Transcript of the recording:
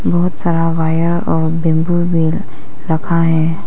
बहुत सारा वायर और बम्बू भी रखा है।